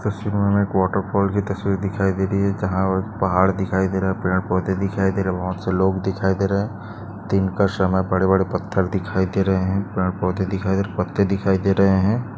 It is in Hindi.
तस्वीर मे हमे एक वॉटर पार्क की तस्वीर दिखाई दे रही है जहा पहाड़ दिखाई दे रहे है पेड़ पौधे दिखाई दे रहे है बहुत सारे लोग दिखाई दे रहे है दिन का समय बड़े बड़े पत्थर दिखाई दे रहे है पेड़ पौधे दिखाई दे रहे है पत्ते दिखाई दे रहे है।